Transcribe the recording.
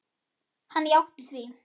Hann játti því.